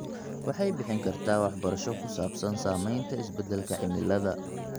Waxay bixin kartaa waxbarasho ku saabsan saamaynta isbeddelka cimilada.